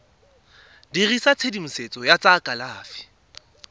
dirisa tshedimosetso ya tsa kalafi